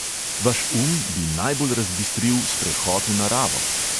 Vaš um bi najbolj razbistril sprehod v naravo.